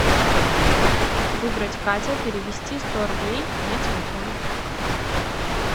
выбрать катя перевести сто рублей на телефон